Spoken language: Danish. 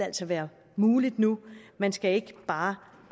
være mulig nu man skal ikke bare